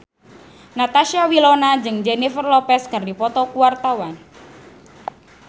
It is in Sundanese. Natasha Wilona jeung Jennifer Lopez keur dipoto ku wartawan